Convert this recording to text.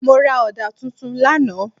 Mo ra ọ̀dà tuntun lánàá.